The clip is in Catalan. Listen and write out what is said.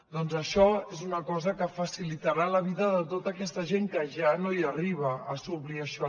doncs això és una cosa que facilitarà la vida de tota aquesta gent que ja no hi arriba a suplir això